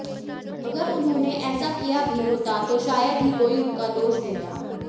अगर उन्होंने ऐसा किया भी होता तो शायद ही कोई उनका दोष देता